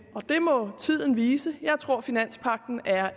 må tiden vise jeg tror at finanspagten er